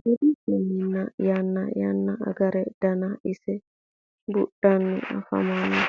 Buudhinnanniri yanna yanna agare daanna ise buudhanni affammanno